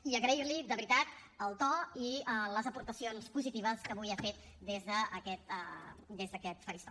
i agrair li de veritat el to i les aportacions positives que avui ha fet des d’aquest faristol